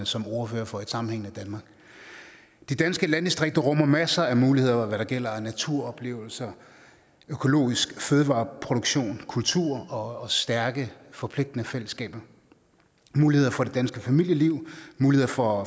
som ordfører for et sammenhængende danmark de danske landdistrikter rummer masser af muligheder når det gælder naturoplevelser økologisk fødevareproduktion kultur og stærke forpligtende fællesskaber muligheder for det danske familieliv muligheder for